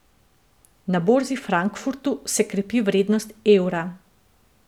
Na borzi v Frankfurtu se krepi vrednost evra.